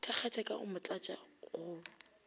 thakgatša ka go motlatša go